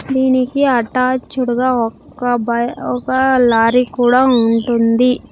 దీనికి అట్యాచ్డ్ గా ఒక్క బై-- ఒక లారీ కూడా ఉంటుంది.